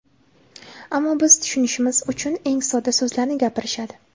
ammo biz tushunishimiz uchun eng sodda so‘zlarni gapirishadi.